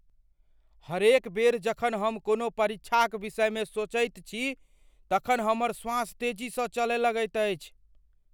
हरेक बेर जखन हम कोनो परीक्षाक विषयमे सोचैत छी तखन हमर श्वास तेजीसँ चलय लगैत अछि।